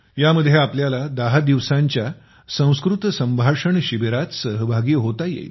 यामध्ये आपल्याला 10 दिवसांच्या संस्कृत संभाषण शिबिरात सहभागी होता येईल